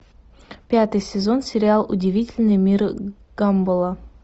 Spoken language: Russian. пятый сезон сериал удивительный мир гамбола